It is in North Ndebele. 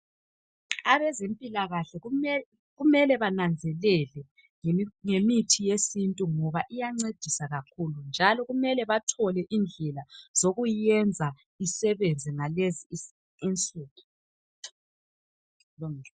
Abezempilakahle kumele bananzelele ngemithi yesintu ngoba iyancedisa kakhulu njalo kumele bathole indlela zokuyiyenza isebenze ngalezi insuku.